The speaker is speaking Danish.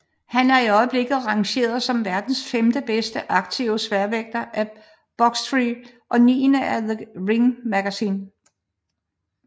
Han er i øjeblikket rangeret som verdens femte bedste aktive sværvægter af Boxrec og niende af The Ring magazine